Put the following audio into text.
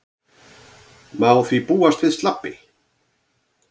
Má því búast við slabbi